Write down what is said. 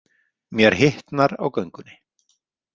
Mér hitnar á göngunni.